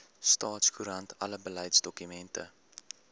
staatskoerant alle beleidsdokumente